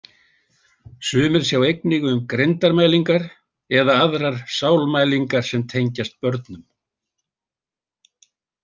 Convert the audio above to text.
Sumir sjá einnig um greindarmælingar eða aðrar sálmælingar sem tengjast börnum.